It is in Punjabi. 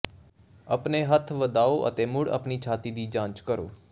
ਆਪਣੇ ਹੱਥ ਵਧਾਓ ਅਤੇ ਮੁੜ ਆਪਣੀ ਛਾਤੀ ਦੀ ਜਾਂਚ ਕਰੋ